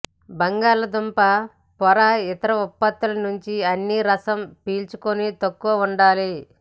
బంగాళాదుంప పొర ఇతర ఉత్పత్తుల నుంచి అన్ని రసం పీల్చుకొని తక్కువ ఉండాలి